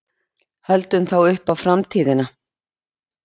Höldum þá upp á FRAMTÍÐINA.